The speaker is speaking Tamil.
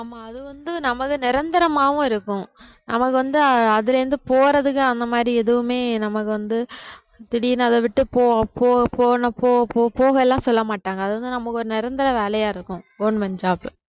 ஆமா அது வந்து நமது நிரந்தரமாவும் இருக்கும் நமக்கு வந்து அதுல இருந்து போறதுக்கு அந்த மாதிரி எதுவுமே நமக்கு வந்து திடீர்னு அத விட்டு போ போ போனா போ போ போக எல்லாம் சொல்ல மாட்டாங்க அது வந்து நமக்கு ஒரு நிரந்தர வேலையா இருக்கும் government job